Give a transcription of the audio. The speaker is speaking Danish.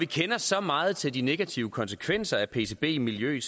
vi kender så meget til de negative konsekvenser for pcb i miljøet